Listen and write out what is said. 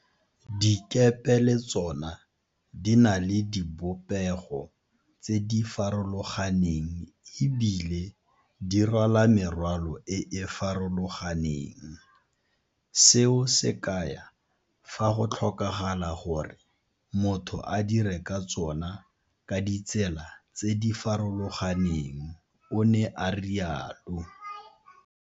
Dikepe le tsona di na le dibopego tse di farolo ganeng e bile dirwala merwalo e e farologaneng, seo se kaya fa go tlhokagala gore motho a dire ka tsona ka ditsela tse di farologaneng, o ne a rialo.